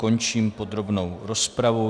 Končím podrobnou rozpravu.